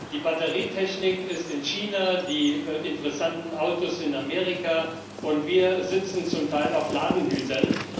Die Batterietechnik ist in China, die interessanten Autos in Amerika, und wir sitzen zum Teil auf Ladenhütern.